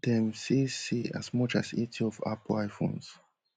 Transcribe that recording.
dem say say as much as eighty of apple iphones